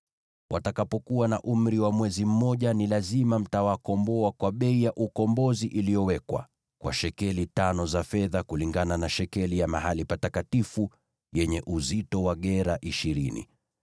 Watakapokuwa na umri wa mwezi mmoja, ni lazima mtawakomboa kwa bei ya ukombozi iliyowekwa, kwa shekeli tano za fedha, kulingana na shekeli ya mahali patakatifu, yenye uzito wa gera ishirini.